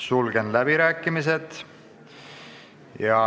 Sulgen läbirääkimised.